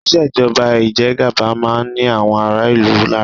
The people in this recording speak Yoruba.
Ìṣèjọba ìjẹgaba máa ń ni àwọn ará-ìlú lára.